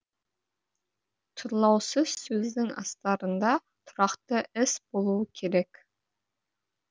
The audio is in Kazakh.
тұрлаусыз сөздің астарында тұрақты іс болуы керек